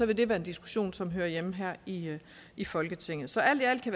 vil det være en diskussion som hører hjemme her i i folketinget så alt i alt kan